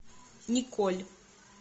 николь